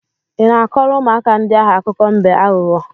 Ị na-akọrọ ụmụaka ndị ahụ akụkọ mbe aghụghọ?